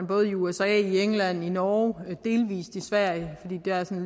både i usa england norge og delvis i sverige